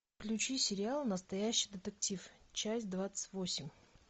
включи сериал настоящий детектив часть двадцать восемь